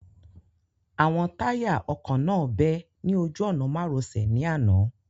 Àwọn táyà ọkọ̀ náà bẹ́ ní ojú ọ̀nà-márosẹ̀ ní àná